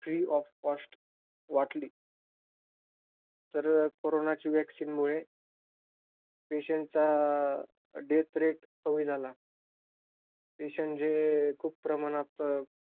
Free of cost वाटली. तर कोरोनाची vaccine मुळे, patient चा death rate कमी झाला. patients जे खूप प्रमाणात,